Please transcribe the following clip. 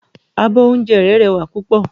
Abọ́ oúnjẹ rẹ́ rẹwà púpọ̀.